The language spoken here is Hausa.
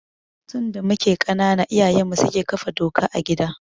Tun da muke ƙanana iyayenmu suke kafa doka a gida.